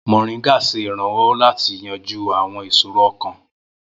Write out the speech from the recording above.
Moringa ṣe iranlọwọ lati yanju awọn iṣoro ọkan.